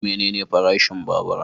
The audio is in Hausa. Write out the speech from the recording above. Menene farashin babura?